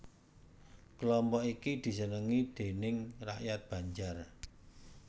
Kelompok iki disenengi déning rakyat Banjar